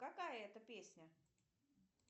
какая это песня